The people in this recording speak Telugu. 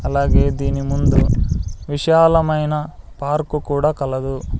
అలాగే దీని ముందు విశాలమైన పార్కు కూడా కలదు.